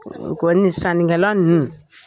A kɔni sanikɛla ninnu